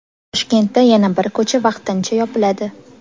Toshkentda yana bir ko‘cha vaqtincha yopiladi.